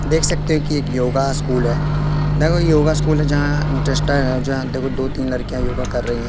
देख सकते हो कि एक योगा स्कूल है। देखो यह योग स्कूल है जहां जस्ट देखो दो तीन लड़कियां योगा कर रही हैं।